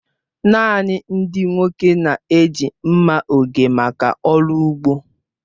Naanị ndị nwoke na-eji mma oge maka ọrụ ugbo.